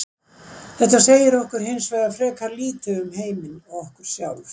Þetta segir okkur hins vegar frekar lítið um heiminn og okkur sjálf.